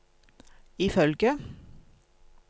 ifølge